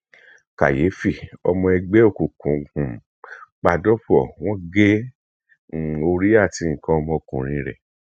kàyéfì ọmọ ẹgbẹ òkùnkùn um pa dọpọ wọn gé um orí àti nǹkan ọmọkùnrin rẹ